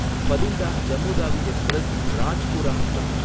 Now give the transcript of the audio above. Bathinda Jammu Tawi Express, Rajpura வழி